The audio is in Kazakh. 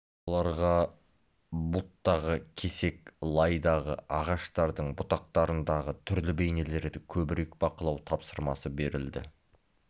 балаларға бұлттағы кесек лайдағы ағаштардың бұтақтарындағы түрлі бейнелерді көбірек бақылау тапсырмасы берілді